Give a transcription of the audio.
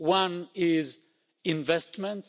One is investments'.